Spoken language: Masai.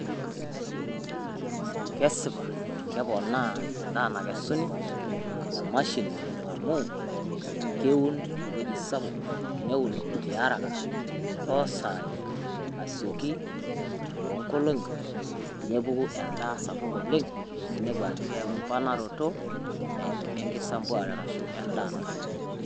Kesipaa keponaa enaa nakesuni emashini amu keuun wueji sapuk neuun te haraka to sai asookii to engoloni neepuku endaa sapuk oleng enepuu ajo keku embaranoto enkisumbuarata arashu endaa.